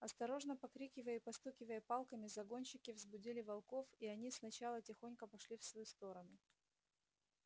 осторожно покрикивая и постукивая палками загонщики взбудили волков и они сначала тихонько пошли в свою сторону